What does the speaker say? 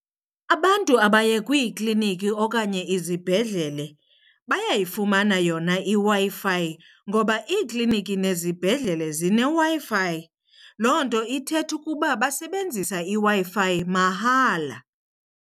Abantu abaye kwiikliniki okanye izibhedlele bayayifumana yona iWi-Fi ngoba iikliniki nezibhedlele zineWi-Fi. Loo nto ithetha ukuba basebenzisa iWi-Fi mahala.